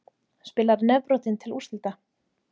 Spilar nefbrotinn til úrslita